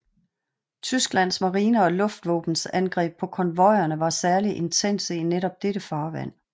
Tysklands marine og luftvåbens angreb på konvojerne var særligt intense i netop dette farvand